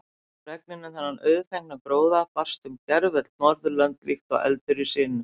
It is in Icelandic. Fregnin um þennan auðfengna gróða barst um gervöll Norðurlönd líkt og eldur í sinu.